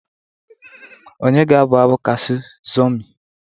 onye ga-abụ abụ Kassu Zurmi?